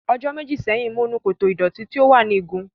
Ọjọ́ méjì sẹ́yìn, mo nu koto ìdọ̀tí tí ó wà ní igun.